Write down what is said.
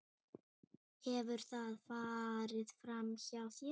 Hefur það farið framhjá þér?